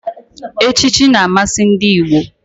Echichi na-amasị ndị Igbo.